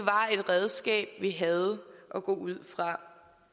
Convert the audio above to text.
redskab vi havde at gå ud fra